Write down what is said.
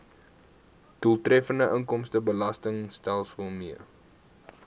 doeltreffende inkomstebelastingstelsel mee